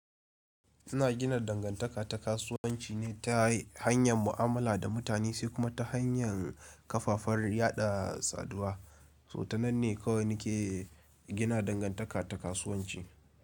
Ina gina dangantaka ta kasuwanci ne ta hanyan mu'amala da mutane, sai kuma ta hanyan kafafar yaɗa saduwa. To ta nan ne kawai nike gina dangantaka ta kasuwanci.